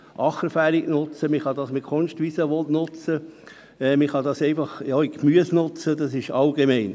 Man kann es also als Acker, als Kunstwiese oder für Gemüse und so weiter nutzen.